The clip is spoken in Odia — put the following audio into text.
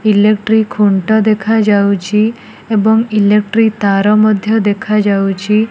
ଇଲେକ୍ଟ୍ରି ଖୁଣ୍ଟ ଦେଖାଯାଉଛି ଏବଂ ଇଲେକ୍ଟ୍ରି ତାର ମଧ୍ୟ ଦେଖାଯାଉଛି।